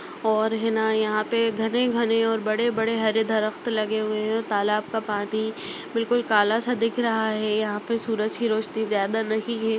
और है न यहां पे घने घने और बड़े- बड़े हरे दरफ्त लगे हुए हैं और तालाब का पानी बिलकुल काला सा दिख रहा है यहां पे सूरज की रौशनी ज़्यादा नहीं है--